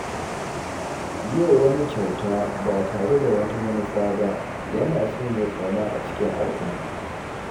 Yi wa wani kyauta ba tare da wata manufa ba yana sanya ƙauna a cikin al'umma.